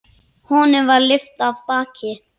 Honum var lyft af baki.